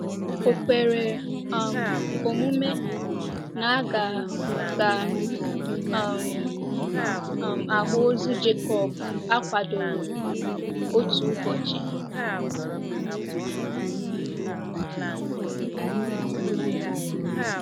Ò kwere um omume na a ga ga um - um ahụ ozu Jekọb akwadoro otu ụbọchị?